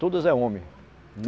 Todos é homem.